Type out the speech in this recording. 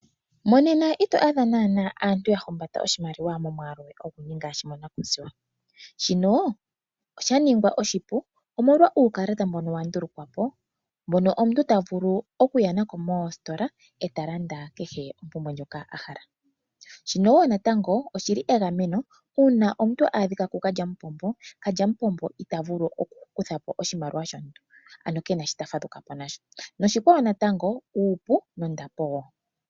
Monena ito adha naanaa aantu ya humbata oshimaliwa oshindji ngaashi monkuziwa. Shika osha ningwa oshipu omolwa uukalata mboka wa ndulukwa po, mboka omuntu ta vulu okuya nako moositola e ta landa kehe ompumbwe ndjoka a hala. Shika natango egameno uuna omuntu a adhika kukalyamupombo. Kalyamupombo ita vulu kutha po oshimaliwa shomuntu, ano ke na shoka ta fadhuka po nasho. Oshikwawo natango uupu nondapo wo.